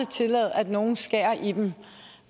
tillade at nogen skærer i dem